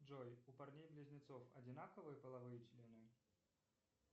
джой у парней близнецов одинаковые половые члены